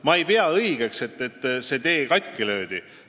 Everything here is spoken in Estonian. Ma ei pea õigeks, et see tee katki löödi.